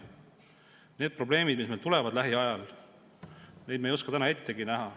Neid probleeme, mis meil lähiajal tulevad, me ei oska täna ettegi näha.